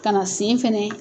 Ka na sen fana